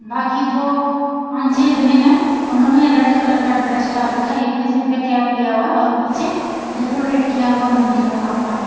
ना की जो पाँच छे जने हैं उन्होंने रेड कलर का ड्रेस डाल रखा है। एक ने सिर पे कैप लिया हुआ है और पीछे डेकोरेट किया हुआ मंदिर बना हुआ है।